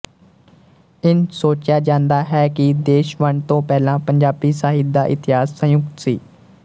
ਇੰਝ ਸੋਚਿਆ ਜਾਂਦਾ ਹੈ ਕਿ ਦੇਸ਼ ਵੰਡ ਤੋਂ ਪਹਿਲਾਂ ਪੰਜਾਬੀ ਸਾਹਿਤ ਦਾ ਇਤਿਹਾਸ ਸੰਯੁਕਤ ਸੀ